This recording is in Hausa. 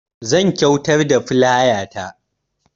Zan kyuatar da filaya ta